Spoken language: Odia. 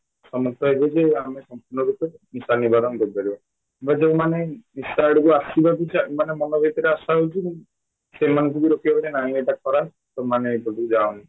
ସମସ୍ତେ କହିବେଯେ ଆମେ ସମ୍ପୂର୍ଣ ରୂପେ ନିଶା ନିବାରଣ କରି ପାରିବ ଆମେ ଯୋଉମାନେ ନିଶା ଆଡକୁ ଆସିବାକୁ ମାନେ ମନଭିତରେ ଆଶା ରହୁଛି ସେମାନଙ୍କୁ ବି ରୋକିବା କି ନାଇଁ ଏଇଟା ଖରାପ ତମେ ଏପଟକୁ ଯାଅନି